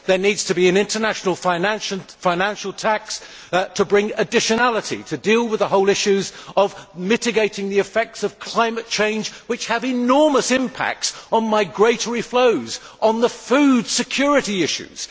There needs to be an international financial tax to bring additionality to deal with the whole issue of mitigating the effects of climate change, which have enormous impacts on migratory flows, on food security issues.